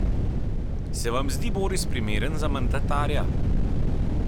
Se vam zdi Boris primeren za mandatarja?